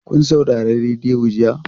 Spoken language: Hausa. Kun saurari rediyo jiya?